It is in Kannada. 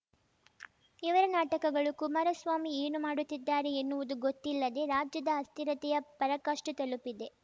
ಇವರ ನಾಟಕಗಳು ಕುಮಾರಸ್ವಾಮಿ ಏನು ಮಾಡುತ್ತಿದ್ದಾರೆ ಎನ್ನುವುದು ಗೊತ್ತಿಲ್ಲದೆ ರಾಜ್ಯದ ಅಸ್ಥಿರತೆಯ ಪರಾಕಾಷ್ಠೆ ತಲುಪಿದೆ